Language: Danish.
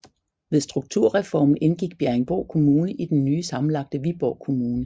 Ved strukturreformen indgik Bjerringbro Kommune i den nye sammenlagte Viborg Kommune